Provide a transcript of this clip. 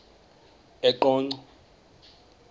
eqonco